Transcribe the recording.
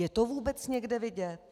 Je to vůbec někde vidět?